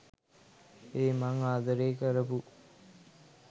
ඒ මං ආදරේ කරපු